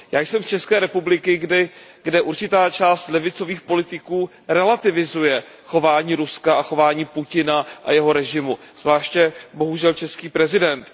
Já jsem z ČR, kde určitá část levicových politiků relativizuje chování Ruska a chování Putina a jeho režimu, zvláště, bohužel, český prezident.